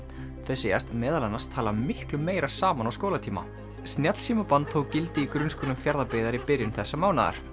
þau segjast meðal annars tala miklu meira saman á skólatíma tók gildi í grunnskólum Fjarðabyggðar í byrjun þessa mánaðar